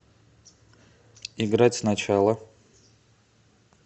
играть сначала